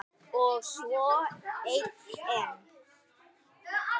Og svo einn enn.